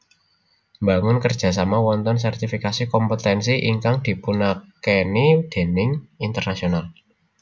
Mbangun kerja sama wontenipun sertifikasi kompetensi ingkang dipunakeni déning internasional